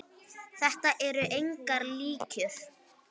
Þetta eru engar ýkjur.